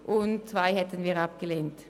Den Punkt 2 hätten wir abgelehnt.